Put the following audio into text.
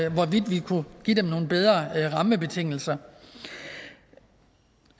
om hvorvidt vi kunne give dem nogle bedre rammebetingelser